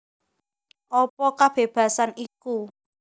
Apa kabébasan iku